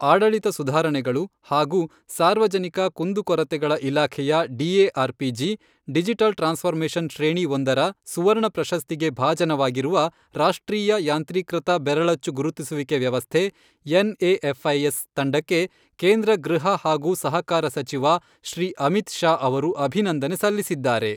ಆಡಳಿತ ಸುಧಾರಣೆಗಳು ಹಾಗೂ ಸಾರ್ವಜನಿಕ ಕುಂದುಕೊರತೆಗಳ ಇಲಾಖೆಯ ಡಿಎಆರ್ಪಿಜಿ, ಡಿಜಿಟಲ್ ಟ್ರಾನ್ಸ್ಫರ್ಮೇಶನ್ ಶ್ರೇಣಿ ಒಂದರ ಸುವರ್ಣ ಪ್ರಶಸ್ತಿಗೆ ಭಾಜನವಾಗಿರುವ ರಾಷ್ಟ್ರೀಯ ಯಾಂತ್ರೀಕೃತ ಬೆರಳಚ್ಚು ಗುರುತಿಸುವಿಕೆ ವ್ಯವಸ್ಥೆ ಎನ್ಎಏಫ್ಐಎಸ್ ತಂಡಕ್ಕೆ ಕೇಂದ್ರ ಗೃಹ ಹಾಗೂ ಸಹಕಾರ ಸಚಿವ ಶ್ರೀ ಅಮಿತ್ ಶಾ ಅವರು ಅಭಿನಂದನೆ ಸಲ್ಲಿಸಿದ್ದಾರೆ.